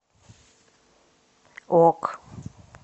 ок